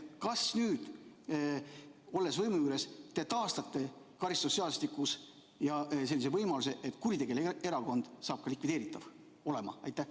Kas nüüd, olles võimu juures, te taastate karistusseadustikus selle võimaluse, et kuritegeliku erakonna saab likvideerida?